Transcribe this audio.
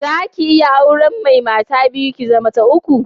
Za ki iya auren mai mata biyu, ki zama ta uku?